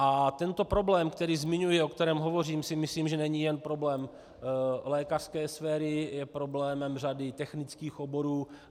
A tento problém, který zmiňuji, o kterém hovořím, si myslím, že není jen problém lékařské sféry, je problémem řady technických oborů.